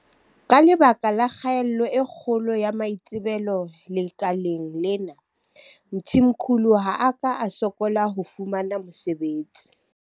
Ka lebaka la kgaello e kgolo ya maitsebelo lekaleng lena, Mthimkhulu ha a ka a sokola ho fumana mosebetsi.